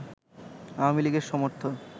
আওয়ামী লীগের সমর্থক